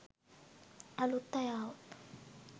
අලුත් අය ආවොත්.